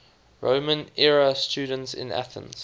roman era students in athens